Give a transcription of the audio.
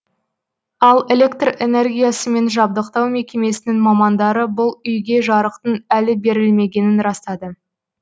ал электр энергиясымен жабдықтау мекемесінің мамандары бұл үйге жарықтың әлі берілмегенін растады